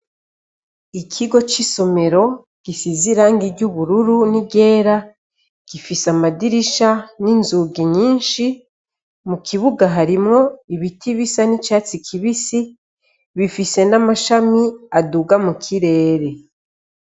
Ikigo c'isomero gisize irangi ry'ubururu n'iryera, gifise amadirisha n'inzugi nyinshi, mu kibuga harimo ibiti bisa n'icatsi kibisi, bifise n'amashami aduga mu kirere.